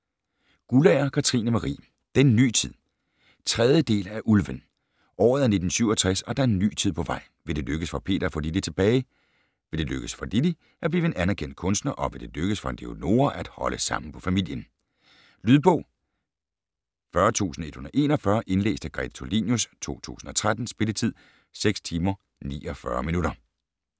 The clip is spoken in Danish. Guldager, Katrine Marie: Den ny tid 3. del af Ulven. Året er 1967 og der er en ny tid på vej. Vil det lykkes for Peter at få Lilly tilbage, vil det lykkes for Lilly at blive en anerkendt kunstner og vil det lykkes for Leonora at holde sammen på familien? Lydbog 40141 Indlæst af Grete Tulinius, 2013. Spilletid: 6 timer, 49 minutter.